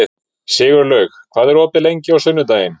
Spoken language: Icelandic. Sigurlaug, hvað er opið lengi á sunnudaginn?